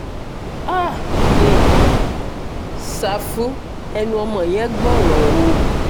háà um ṣáfù ẹnu ọmọ yẹn gbọ́rọ̀ o